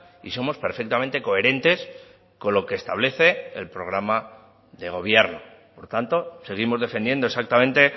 y somos perfectamente coherentes con lo que establece el programa de gobierno por tanto seguimos defendiendo exactamente